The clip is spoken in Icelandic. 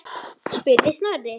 spurði Snorri.